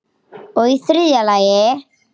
Og í þriðja lagi.